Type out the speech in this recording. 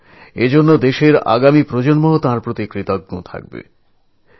আর এরজন্যই আমাদের আগামী প্রজন্ম তাঁর কাছে ঋণী থাকবে